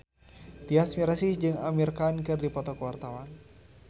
Tyas Mirasih jeung Amir Khan keur dipoto ku wartawan